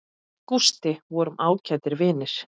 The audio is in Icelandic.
Við Gústi vorum ágætir vinir.